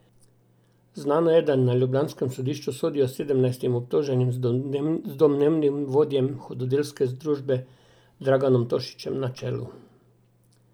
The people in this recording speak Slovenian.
Znano je, da na ljubljanskem sodišču sodijo sedemnajstim obtoženim z domnevnim vodjem hudodelske združbe Draganom Tošićem na čelu.